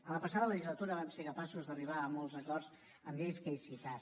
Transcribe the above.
en la passada legislatura vam ser capaços d’arribar a molts acords en lleis que he citat